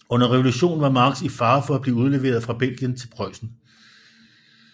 Under revolutionen var Marx i fare for at blive udleveret fra Belgien til Preussen